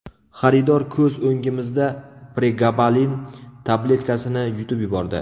Xaridor ko‘z o‘ngimizda pregabalin tabletkasini yutib yubordi.